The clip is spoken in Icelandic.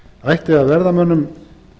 ætti að verða mönnum